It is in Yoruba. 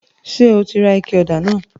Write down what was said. Ṣe o rà ike òdà náà?